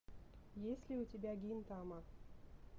есть ли у тебя гинтама